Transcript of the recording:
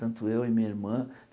Tanto eu e minha irmã.